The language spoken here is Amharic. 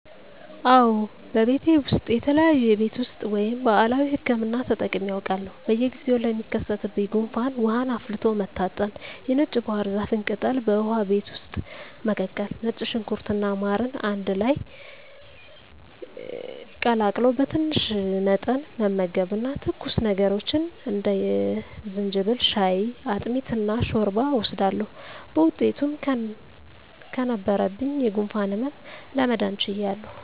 አወ በቤቴ ውሰጥ የተለያዩ የቤት ውስጥ ወይም ባህላዊ ህክምና ተጠቅሜ አውቃለሁ። በየጊዜው ለሚከሰትብኝ ጉንፋን ውሃን አፍልቶ መታጠን፣ የነጭ ባህርዛፍን ቅጠል በውሃ ቤት ውስጥ መቀቀል፣ ነጭ ሽንኩርት እና ማርን አንድ ላይ ቀላቅሎ በትንሽ መጠን መመገብ እና ትኩስ ነገሮችን እንደ የዝንጅብል ሻይ፣ አጥሚት እና ሾርባ እወስዳለሁ። በውጤቱም ከነበረብኝ የጉንፋን ህመም ለመዳን ችያለሁ።